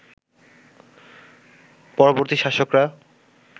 পরবর্তী শাসকরা